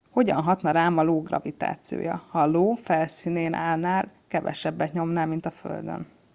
hogyan hatna rám az io gravitációja ha az io felszínén állnál kevesebbet nyomnál mint a földön